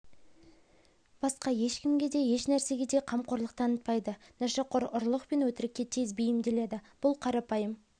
басқа ешкімге де ешнәрсеге де қамқорлық танытпайды нашақор ұрлық пен өтірікке тез бейімделеді бұл қарапайым